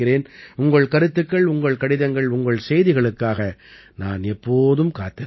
உங்கள் கருத்துக்கள் உங்கள் கடிதங்கள் உங்கள் செய்திகளுக்காக நான் எப்போதும் காத்திருப்பேன்